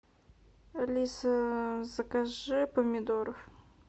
алиса закажи помидоров